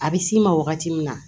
A bɛ s'i ma wagati min na